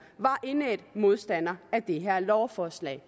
var indædte modstandere af det her lovforslag